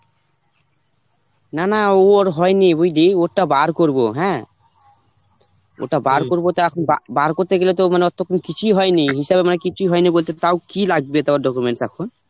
না না উর হয়নি বুঝলি, ওরটা বার করব, হ্যাঁ? ওরটা বার করব তো এখন বা~ বার করতে গেলে তো মানে কিছুই হয়নি হিসাবে মানে কিছুই হয়নি বলতে তাও কি লাগবে তোর documents এখন?